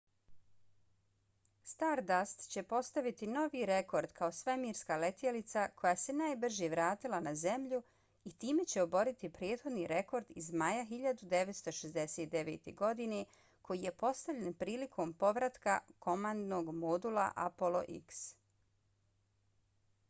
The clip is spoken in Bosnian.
stardust će postaviti novi rekord kao svemirska letjelica koja se najbrže vratila na zemlju i time će oboriti prethodni rekord iz maja 1969. godine koji je postavljen prilikom povratka komandnog modula apollo x